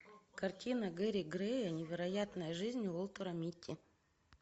картина гэри грея невероятная жизнь уолтера митти